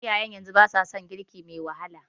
Iyayen yanzu ba sa son girki me wahala.